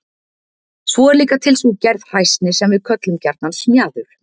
svo er líka til sú gerð hræsni sem við köllum gjarnan smjaður